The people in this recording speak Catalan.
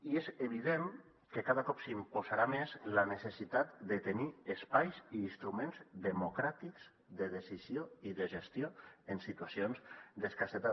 i és evident que cada cop s’imposarà més la necessitat de tenir espais i instru·ments democràtics de decisió i de gestió en situacions d’escassetat